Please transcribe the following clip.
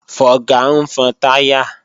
Fọga ń fọn táyà